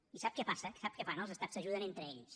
i sap què passa sap què fan els estats s’ajuden entre ells